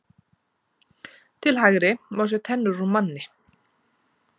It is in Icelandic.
Til hægri má sjá tennur úr manni.